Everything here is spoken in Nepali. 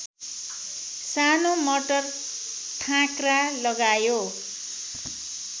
सानो मटर थाँक्रा लगायो